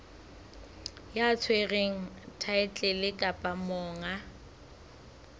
ya tshwereng thaetlele kapa monga